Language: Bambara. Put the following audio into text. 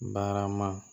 Barama